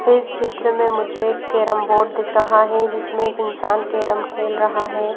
इस चित्र में मुझे एक केरम बोर्ड दिख रहा है जिसमें एक इंसान केरम खेल रहा है।